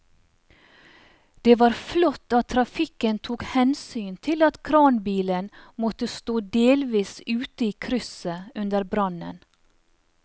Det var flott at trafikken tok hensyn til at kranbilen måtte stå delvis ute i krysset under brannen.